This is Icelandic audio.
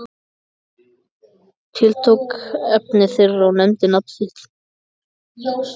Tiltók efni þeirra og nefndi nafn þitt.